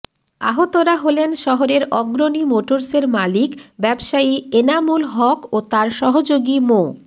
আহতরা হলেন শহরের অগ্রণী মোটর্সের মালিক ব্যবসায়ী এনামুল হক ও তাঁর সহযোগী মো